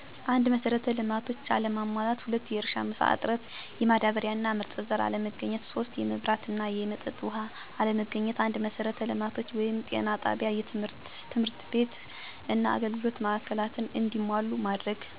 1, መሰረተ ልማቶች አለመሟላት። 2, የእርሻ መሳ እጥረት፣ የማዳበሪያ እና ምርጥ ዘር አለማግኘት 3, የመብራት እና የመጠጥ ውሃ አለማግአት። 1, መሰረተ ልማቶችን(ጤና ጣቢያ፣ ትምህርት ቤትና የአገልግሎት ማዕከላትን )እንዲሟሉ ማድረግ። 2, የእርሻ ማሳ፣ ማዳበሪያና ምርጥ ዘር እንዲያገኙ ማድረግ። 3, መብራት(የሶላር አቅርቦት) እና የመጠጥ ውሃ እንዲያገኙ ማድረግ።